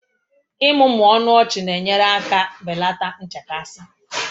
Ịmụmụ ọnụ ọchị na-enyere aka belata nchekasị